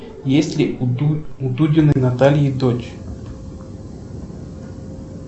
есть ли у дудиной натальи дочь